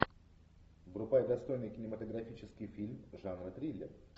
врубай достойный кинематографический фильм жанра триллер